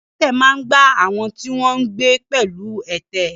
Ilé adẹ́tẹ̀ máa ń gba àwọn tí wọ́n ń gbé pẹ̀lú ẹ̀tẹ̀.